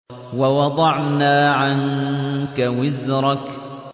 وَوَضَعْنَا عَنكَ وِزْرَكَ